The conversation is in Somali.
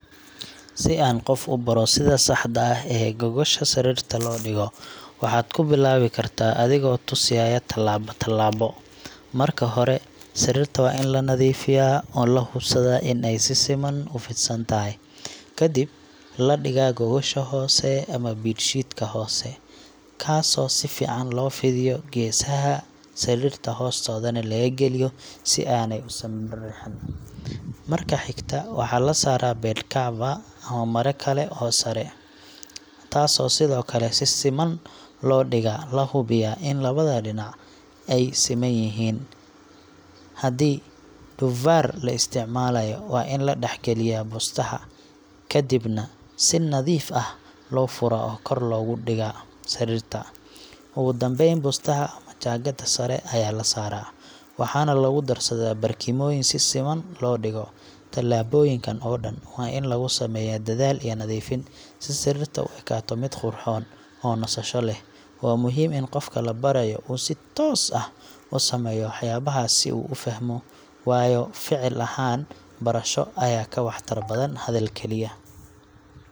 Si aad qof u baro sida saxda ah ee gogosha sariirta loo dhigo, waxaad ku bilaabi kartaa adigoo tusiya tallaabo tallaabo. Marka hore, sariirta waa in la nadiifiyaa oo la hubsadaa in ay si siman u fidsan tahay. Kadib, la dhigaa gogosha hoose ama bed sheet ka hoose – kaasoo si fiican loo fidiyo geesaha sariirta hoostoodana laga geliyo si aanay u simbiriirixin. Marka xigta, waxaa la saaraa bed cover ama maro kale oo sare ah, taasoo sidoo kale si siman loo dhigaa, la hubiyaa in labada dhinac ay siman yihiin. Haddii duvaar la isticmaalayo, waa in la dhex geliyaa bustaha, kadibna si nadiif ah loo furaa oo kor looga dhigo sariirta. Ugu dambeyn, bustaha ama jaakada sare ayaa la saaraa, waxaana lagu darsadaa barkimooyin si siman loo dhigo. Tallaabooyinkaan oo dhan waa in lagu sameeyaa dadaal iyo nadiifin, si sariirta u ekaato mid qurxoon oo nasasho leh. Waa muhiim in qofka la barayo uu si toos ah u sameeyo waxyaabahaas si uu u fahmo, waayo ficil ahaan barasho ayaa ka waxtar badan hadal kaliya.